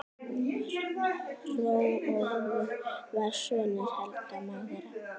Hrólfur var sonur Helga magra.